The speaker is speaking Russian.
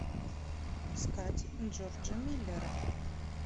искать джорджа миллера